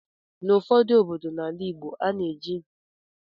N'ụfọdụ obodo n'ala Igbo, ana eji ịsị mmadụ eli ézè.